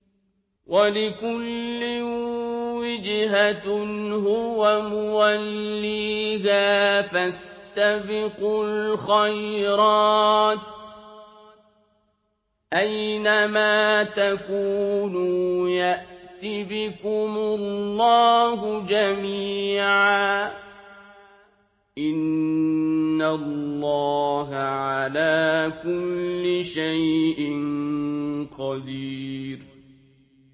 وَلِكُلٍّ وِجْهَةٌ هُوَ مُوَلِّيهَا ۖ فَاسْتَبِقُوا الْخَيْرَاتِ ۚ أَيْنَ مَا تَكُونُوا يَأْتِ بِكُمُ اللَّهُ جَمِيعًا ۚ إِنَّ اللَّهَ عَلَىٰ كُلِّ شَيْءٍ قَدِيرٌ